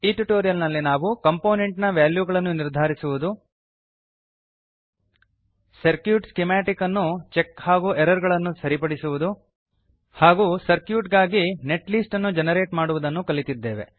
ಈ ಟ್ಯುಟೋರಿಯಲ್ ನಲ್ಲಿ ನಾವು ಕಂಪೋನೆಂಟ್ ನ ವಾಲ್ಯೂಗಳನ್ನು ನಿರ್ಧಾರಿಸುವುದು ಸರ್ಕ್ಯೂಟ್ ಸ್ಕಿಮಾಟಿಕ್ ಅನ್ನು ಚೆಕ್ ಹಾಗೂ ಎರರ್ ಗಳನ್ನು ಸರಿಪಡಿಸುವುದು ಹಾಗೂ ಸರ್ಕ್ಯೂಟ್ ಗಾಗಿ ನೆಟ್ ಲಿಸ್ಟ್ ಅನ್ನು ಜೆನರೇಟ್ ಮಾಡುವುದನ್ನು ಕಲಿತಿದ್ದೇವೆ